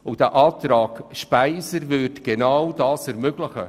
Die Planungserklärung SVP/Speiser würde genau dies ermöglichen.